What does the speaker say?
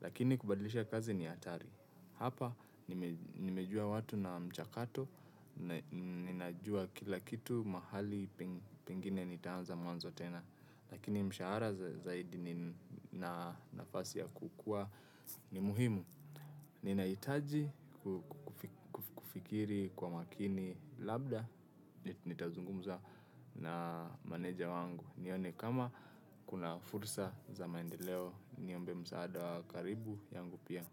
Lakini kubadlisha kazi ni hatari. Hapa nimejua watu na mchakato, ninajua kila kitu mahali pingine nitaanza mwanzo tena. Lakini mshahara zaidi na nafasi ya kukua ni muhimu. Ninaitaji kufikiri kwa makini labda, nitazungumza na maneja wangu. Nione kama kuna fursa za maendeleo, niombe msaada wa karibu yangu pia.